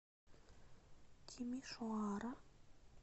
тимишоара